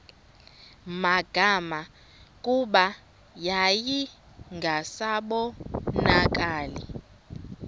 magama kuba yayingasabonakali